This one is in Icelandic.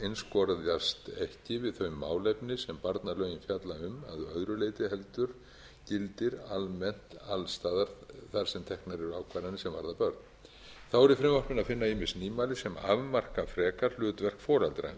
einskorðast ekki við þau málefni sem barnalögin fjalla um að öðru leyti heldur gildir almennt alls staðar þar sem teknar eru ákvarðanir sem varða börn þá er að finna í frumvarpinu ýmis nýmæli sem afmarka frekar hlutverk foreldra í